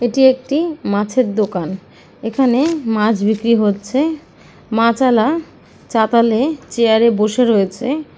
এটি একটি মাছের দোকান এখানে মাছ বিক্রি হচ্ছে মাচালা চাতালে চেয়ার এ বসে রয়েছে।